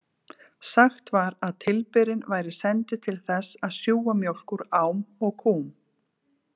Sagt var að tilberinn væri sendur til þess að sjúga mjólk úr ám og kúm.